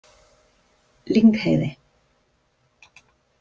Lyngheiði